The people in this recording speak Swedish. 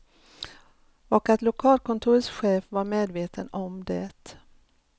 Och att lokalkontorets chef var medveten om det.